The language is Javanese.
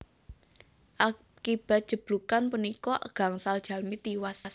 Akibat jeblugan punika gangsal jalmi tiwas